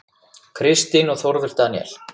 Kristín og Þórður Daníel.